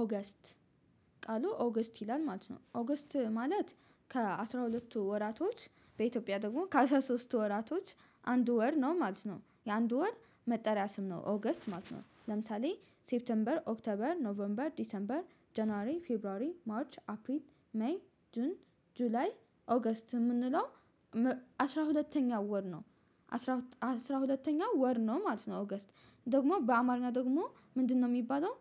ኦገስት ቃሉ ኦገስት ይላል ማለት ነው። ኦገስት ማለት ከአሥራ ሁለትቱ ወራቶች በኢትዮጵያ ደግሞ ከአስራ ሶስቱ ወራቶች አንድ ወር ነው ማለት ነው። የአንድ ወር መጠሪያ ስም ነው ኦገስት ማለት ነው። ለምሳሌ ሴፕቴምበር ኦክተበር ኖቨርንበር ዲሰምበር ጀነራሪ ፌብሩዋሪ ማርች አፕሪን ሜይ ጁን ጁላይ ኦገስት የምንለው አስራ ሁለተኛው ወር ነው አስራ ሁለተኛ ወር ነው ማለት ነው። ኦገስት ደግሞ በአማርኛ ደግሞ ምንድነው የሚባለው?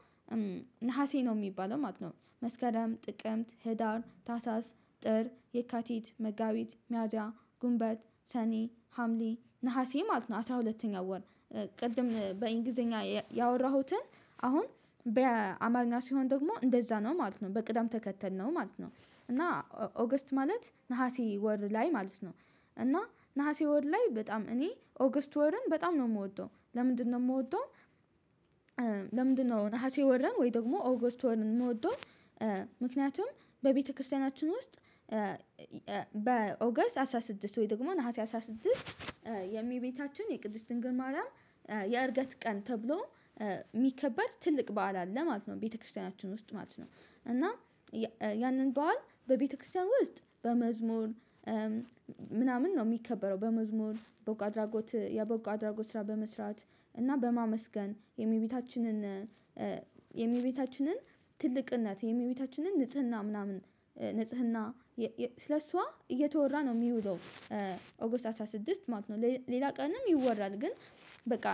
ነሀሴ ነው የሚባለው ማለት ነው መስከረም ጥቅምት ህዳር ታሳስ ጥር የካቲት መጋቢት መያዣ ጉንበት ሰኔ ሀምሌ ነሀሴ ማለት ነው አስራ ሁለተኛ ወር። ቅድም በእንግሊዘኛ ያወራሁትን አሁን በአማርኛ ሲሆን ደግሞ እንደዛ ነው ማለት ነው በቅዳም ተከተል ነው ማለት ነው። እና ኦገስት ማለት ነሀሴ ወር ላይ ማለት ነው። እና ነሀሴ ወር ላይ በጣም እኔ ኦገስት ወርን በጣም ነው የምወደው ለምንድነው የምወደው? ለምንድነው ነሀሴ ወረን ወይ ደግሞ ኦገስት ወርን የምወደው? ምክንያቱም በቤተክርስቲያናችን ውስጥ በኦገስት አስራ ስድስት ወይ ደግሞ ነሀሴ አስራ ስድስት የሚቤታችን የቅድስት ድንግል ማርያም የእርገት ቀን ተብሎ የሚከበር ትልቅ በዓል አለ ማለት ነው ቤተክርስቲያናችን ውስጥ ማለት ነው። እና ያንን በዓል በቤተክርስቲያን ውስጥ በመዝሙር ምናምን ነው የሚከበረው። በመዝሙር በቦጎ አድራጎት የበጎ አድራጎት ስራ በመስራት እና በማመስገን የእመቤታችን የእሚቤታችንን የሚቤታችንን ትልቅነት የእሚቤታችንን ንጽህና ምናምን ንጽህና ስለሷ እየተወራ ነው የሚውለው። ኦጎስት አስራ ስድስት ማለት ነው ሌላ ቀንም ይወራል ግን በቃ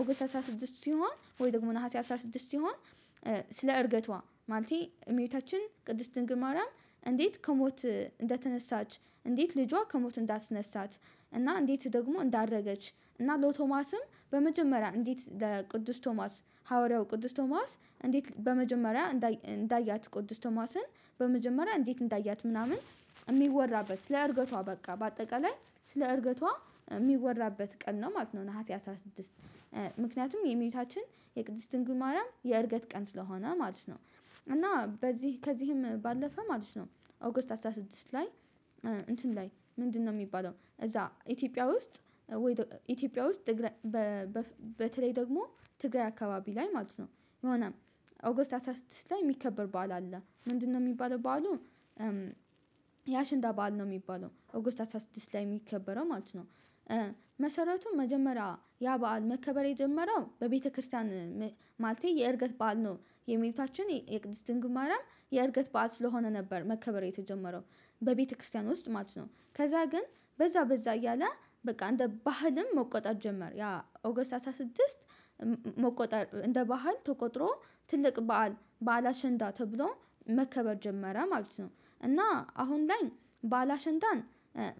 ኦጎስት አስራ ስድስት ሲሆን ወይ ደግሞ ነሀሴ አስራ ስድስት ሲሆን። ስለ እርገቷ ማለቴ እመይታችን ቅድስት ድንግል ማርያም እንዴት ከሞት እንደተነሳች እንዴት ልጇ ከሞት እንዳስነሳት። እና እንዴት ደግሞ እንዳደረገች እና ለቶማስም በመጀመሪያ እንዴት ለቅዱስ ቶማስ ሐዋርያው ቅዱስ ቶማስ እንዴት በመጀመሪያ እንዳያት ቅዱስ ቶማስን በመጀመሪያ እንዴት እንዳያት ምናምን። የሚወራበት ስለ እርገቷ በቃ በአጠቃላይ ስለ እርገቷ የሚወራበት ቀን ነው ማለት ነው። ነሀሴ አስራ ስድስት ምክንያቱም የእመቤታችን የቅድስት ድንግል ማርያም የእርገት ቀን ስለሆነ ማለት ነው። እና በዚህ ከዚህም ባለፈ ማለት ነው ኦገስት አስራ ስድስት ላይ። እንትን ላይ ምንድነው የሚባለው እዛ ኢትዮጵያ ውስጥ ወይ ኢትዮጵያ ውስጥ? በተለይ ደግሞ ትግራይ አካባቢ ላይ ማለት ነው። የሆነ ኦጎስት አስራ ስድስት ላይ የሚከበር በዓል አለ ምንድነው የሚባለው በዓሉ? ያሽንዳ በዓል ነው የሚባለው ኦጎስት ሃሳ ስድስት ላይ የሚከበረው ማለት ነው። መሰረቱም መጀመሪያ ያ በዓል መከበር የጀመረው በቤተክርስቲያን። ማለቴ የእርገት በዓል ነው። የእመቤታችን የቅድስት ድንግማርያም የእርገት በዓል ስለሆነ ነበር መከበር የተጀመረው በቤተክርስቲያን ውስጥ ማለት ነው። ከዛ ግን በዛ በዛ እያለ በቃ አንድ ባህልም መቆጣጠር ጀመር ያ ኦገስት አስራ ስድስት። መቆጣር እንደ ባህል ተቆጥሮ ትልቅ በዓል ባላሸንዳ ተብሎ መከበር ጀመረ ማለት ነው። እና አሁን ላይ ባላሸንዳን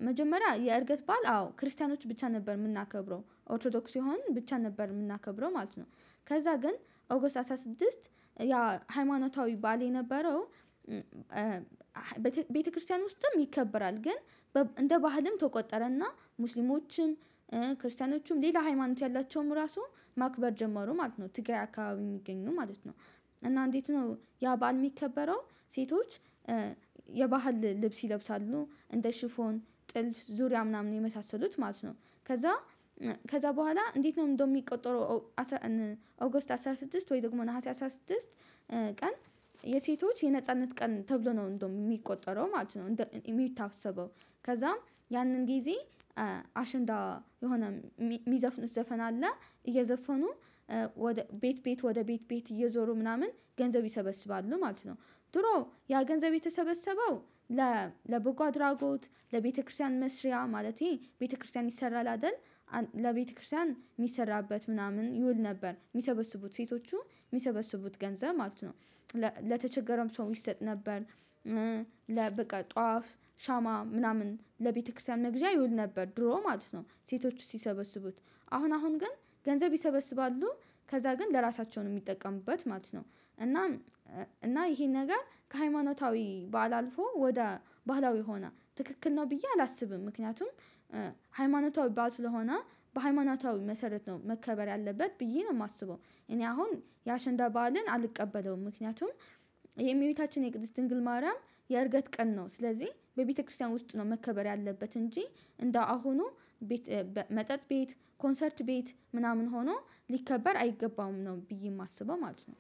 መጀመሪያ የእርገት ባል አዎ ክርስቲያኖች ብቻ ነበር የምናከብረው ኦርቶዶክስ ይሆን ብቻ ነበር የምናከብረው ማለት ነው። ከዛ ግን ኦጎስ አስራ ስድስት ያ ሃይማኖታዊ ባል የነበረው። ቤተክርስቲያን ውስጥም ይከበራል ግን እንደ ባህልም ተቆጠረና ሙስሊሞችም ክርስቲያኖችም ሌላ ሃይማኖት ያላቸውም ራሱ ማክበር ጀመሩ ማለት ነው። ትግራይ አካባቢ የሚገኙ ማለት ነው እና እንዴት ነው ያ ባል የሚከበረው? ሴቶች የባህል ልብስ ይለብሳሉ እንደ ሽፎን ጥልፍ ዙሪያ ምናምን የመሳሰሉት ማለት ነው። ከዛ ከዛ በኋላ እንዴት ነው እንደው የሚቆጠረው? አስራ አገስት አስራ ስድስት ወይ ደግሞ ነሀሴ አስራ ስድስት። ቀን የሴቶች የነጻነት ቀን ተብሎ ነው እንደውም የሚቆጠረው ማለት ነው የሚታሰበው። ከዛም ያንን ጊዜ አሸንዳ የሆነ የሚዘፍኑት ዘፈን አለ እየዘፈኑ ቤት ቤት ወደ ቤት ቤት እየዞሩ ምናምን ገንዘብ ይሰበስባሉ ማለት ነው። ድሮ ያ ገንዘብ የተሰበሰበው ለ ለቦጓ ድራጎት ለቤተክርስቲያን መስሪያ ማለቴ ቤተክርስቲያን ይሰራል አይደል? ለቤተክርስቲያን የሚሰራበት ምናምን ይውል ነበር የሚሰበስቡት ሴቶቹ የሚሰበስቡት ገንዘብ ማለት ነው። ለተቸገረም ሰው ይሰጥ ነበር። ለበቃ ጧፍ ሻማ ምናምን ለቤተክርስቲያን መግዣ ይውል ነበር ድሮ ማለት ነው። ሴቶች ሲሰበስቡት አሁን አሁን ግን ገንዘብ ይሰበስባሉ ከዛ ግን ለራሳቸው ነው የሚጠቀሙበት ማለት ነው። እና እና ይሄን ነገር ከሃይማኖታዊ በዓል አልፎ ወደ ባህላዊ ሆና ትክክል ነው ብዬ አላስብም። ምክንያቱም ሃይማኖታዊ ባዓል ስለሆነ በሃይማኖታዊ መሰረት ነው መከበር ያለበት ብዬ ነው የማስበው። እኔ አሁን የአሸንዳ በዓልን አልቀበለውም ምክንያቱም የመቤታችን የቅድስት ድንግል ማርያም የእርገት ቀን ነው ስለዚህ በቤተክርስቲያን ውስጥ ነው መከበር ያለበት። እንጂ እንደ አሁኑ መጠጥ ቤት ኮንሰርት ቤት ምናምን ሆኖ ሊከበር አይገባም ነው ብዬ የማስበው ማለት ነው